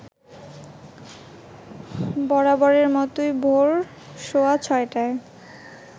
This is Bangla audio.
বরাবরের মতোই ভোর সোয়া ৬টায়